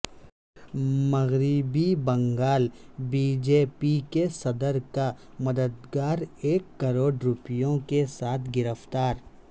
مغربی Bengal B J P کے صدر کا مددگار ایک کروڑ روپیوں کے ساتھ گرفتار